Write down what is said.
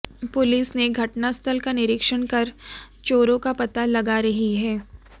police ने घटना स्थल का निरीक्षण कर चोरों का पता लगा रही है